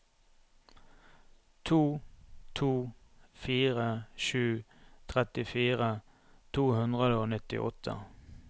to to fire sju trettifire to hundre og nittiåtte